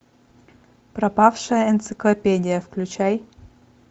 пропавшая энциклопедия включай